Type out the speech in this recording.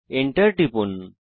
Enter টিপুন